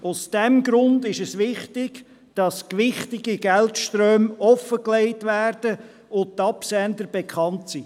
Aus diesem Grund ist es wichtig, dass gewichtige Geldströme offengelegt werden und die Absender bekannt sind.